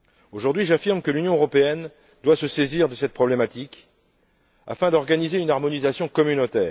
Aujourd'hui, j'affirme que l'Union européenne doit se saisir de cette problématique afin d'organiser une harmonisation à son niveau.